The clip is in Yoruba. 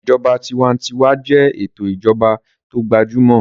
Ìṣèjọba tinwatinwa jẹ́ ètò ìjọba tó gbajúmọ̀